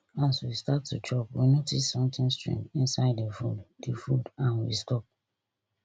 as we start to chop we notice sometin strange inside di food di food and we stop